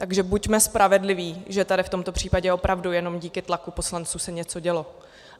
Takže buďme spravedliví, že tady v tomto případě opravdu jenom díky tlaku poslanců se něco dělo.